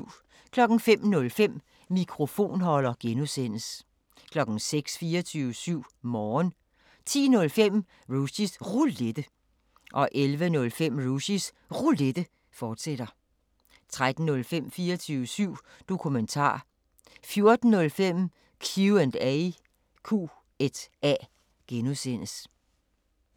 05:05: Mikrofonholder (G) 06:00: 24syv Morgen 10:05: Rushys Roulette 11:05: Rushys Roulette, fortsat 13:05: 24syv Dokumentar 14:05: Q&A (G)